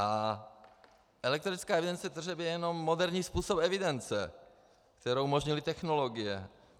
A elektronická evidence tržeb je jenom moderní způsob evidence, kterou umožnily technologie.